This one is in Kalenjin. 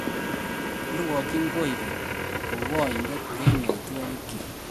Irwokyin koikeny kou oindet en yaitwogik.